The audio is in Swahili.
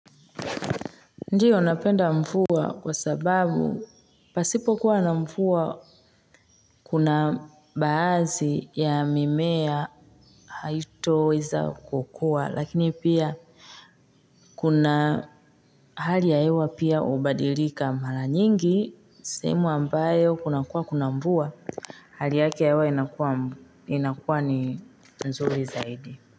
Ndiyo napenda mvua kwa sababu pasipo kuwa na mvua kuna baadhi ya mimea haitoweza kukua lakini pia kuna hali ya hewa pia hubadilika mara nyingi sehemu ambayo kuna kuwa kuna mvua a. Hali yake hewa inakuwa ni nzuri zaidi.